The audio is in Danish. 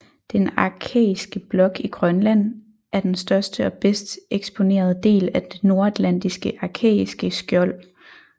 Den arkæiske blok i Grønland er den største og bedst eksponerede del af det nordatlantiske arkæiske skjold